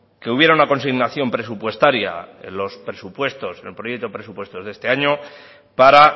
que hubiera una consignación presupuestaria en los presupuestos en el proyecto de presupuesto de este año para